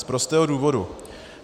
Z prostého důvodu.